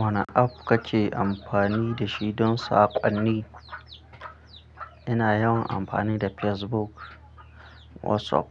Wane app kake amfani da shi don saƙonni? Ina yawan amfani da Facebook, WhatsApp,